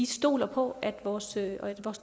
stoler på at vores